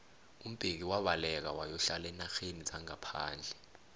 umbeki wabaleka wayokuhlala eenarheni zangaphandle